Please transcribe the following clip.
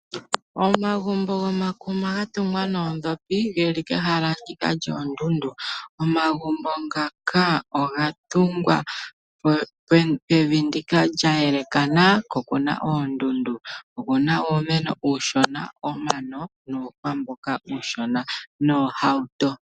Omagumbo gomakuma ga tungwa noondhopi geli kehala lyoondundu, oga tungwa pevi lya elekana ko oku na oondundu. Okuna uumeno uushona, omano osho wo uuhwa uushona noohauto.